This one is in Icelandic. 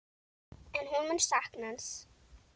En hún mun sakna hans.